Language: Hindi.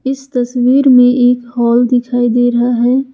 इस तस्वीर में एक हॉल दिखाई दे रहा है।